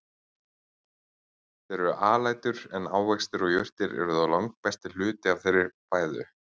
Þeir eru alætur en ávextir og jurtir eru þó langstærsti hluti fæðu þeirra.